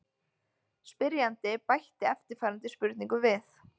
Spyrjandi bætti eftirfarandi spurningu við: